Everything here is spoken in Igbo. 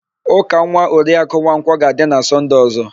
Ụka nwa Oriakụ Nwankwọ ga-adị na Sọnde ọ̀zọ́.